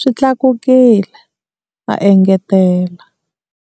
swi tlakukile, a engetela.